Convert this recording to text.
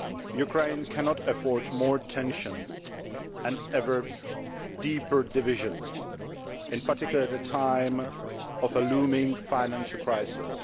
Ukraine cannot afford more tension and ever deeper division, in particular at a time of a looming financial crisis.